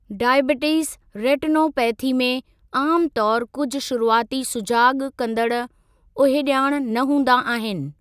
Diabetes retinopathy में आमु तौरु कुझु शुरूआती सुजाॻु कंदड़ु उहिञाण न हूंदा आहिनि।